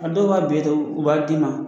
A dɔw b'a be ta u b'a d'i ma